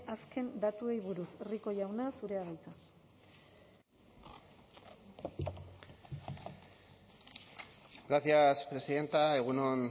azken datuei buruz rico jauna zurea da hitza gracias presidenta egun on